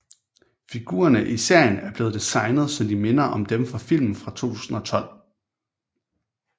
Figurerne i serien er blevet designet så de minder om dem fra filmen fra 2012